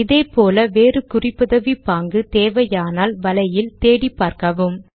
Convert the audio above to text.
இதே போல வேறு குறிப்புதவி பாங்கு தேவையானால் வலையில் தேடிப்பார்க்கவும்